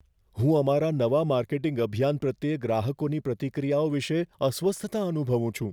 હું અમારા નવા માર્કેટિંગ અભિયાન પ્રત્યે ગ્રાહકોની પ્રતિક્રિયાઓ વિશે અસ્વસ્થતા અનુભવું છું.